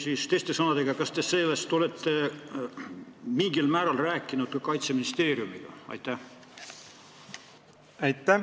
Või teiste sõnadega: kas te olete sel teemal Kaitseministeeriumiga rääkinud?